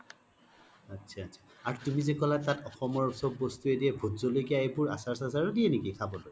আত্ছা আত্ছা আৰু তুমি জে ক'লা তাত অসমৰ চ্'ব বস্তুয়ে দিয়ে ভূত জলকিয়া আচাৰ চাচাৰ ও দিয়ে নেকি খবলৈ ?